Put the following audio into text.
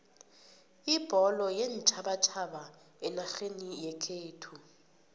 ibholo yeentjhabatjhaba enarheni yekhethu